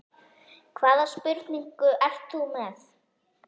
Hvaða spurningu ert þú með?